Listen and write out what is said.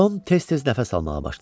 Tom tez-tez nəfəs almağa başladı.